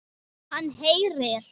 Hann heyrir.